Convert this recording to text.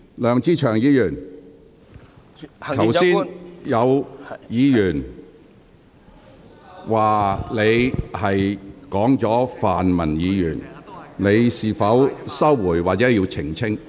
梁志祥議員，剛才有議員指你提及泛民議員，你會否收回言論或作出澄清？